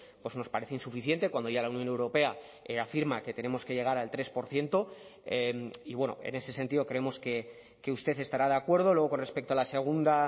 pues nos parece insuficiente cuando ya la unión europea afirma que tenemos que llegar al tres por ciento y bueno en ese sentido creemos que usted estará de acuerdo luego con respecto a la segunda